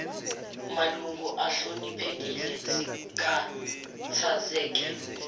malungu ahloniphekile sikhathazeke